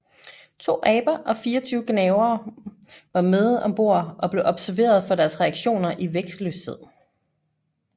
To aber og 24 gnavere var med om bord og blev observeret for deres reaktioner i vægtløshed